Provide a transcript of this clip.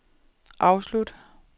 afslut